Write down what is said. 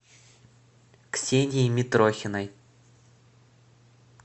ксении митрохиной